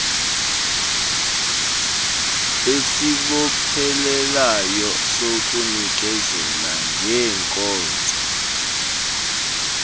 esibophelelayo sokunikezela ngeeenkonzo